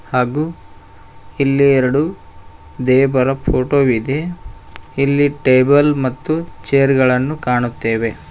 ಹಾಗು ಇಲ್ಲಿ ಎರಡು ದೇವರ ಫೋಟೋ ವಿದೆ ಇಲ್ಲಿ ಟೇಬಲ್ ಮತ್ತು ಚೇರ್ ಗಳನ್ನು ಕಾಣುತ್ತೆವೆ.